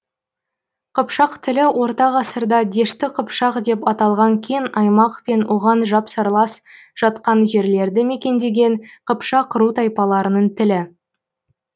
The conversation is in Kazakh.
қыпшақ тілі орта ғасырда дешті қыпшақ деп аталған кең аймақ пен оған жапсарлас жатқан жерлерді мекендеген қыпшақ ру тайпаларының тілі